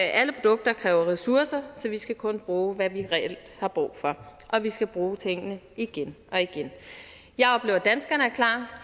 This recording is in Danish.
alle produkter kræver ressourcer så vi skal kun bruge hvad vi reelt har brug for og vi skal bruge tingene igen og igen jeg oplever at danskerne er klar jeg